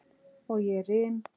Og ég rym.